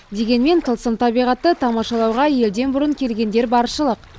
дегенмен тылсым табиғатты тамашалауға елден бұрын келгендер баршылық